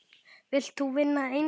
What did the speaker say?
Vilt þú vinna eintak?